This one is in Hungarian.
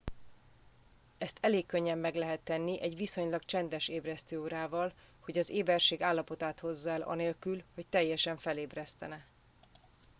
ezt elég könnyen meg lehet tenni egy viszonylag csendes ébresztőórával hogy az éberség állapotát hozza el anélkül hogy teljesen felébresztene